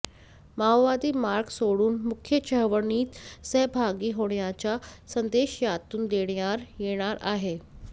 माओवादी मार्ग सोडून मुख्य चळवळीत सहभागी होण्याचा संदेश यातून देण्यात येणार आहे